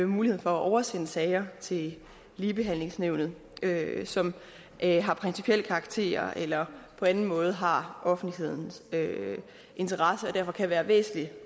mulighed for at oversende sager til ligebehandlingsnævnet som har principiel karakter eller på anden måde har offentlighedens interesse og derfor kan være væsentlige